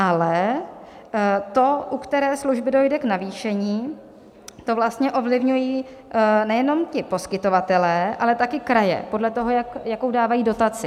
Ale to, u které služby dojde k navýšení, to vlastně ovlivňují nejenom ti poskytovatelé, ale také kraje podle toho, jakou dávají dotaci.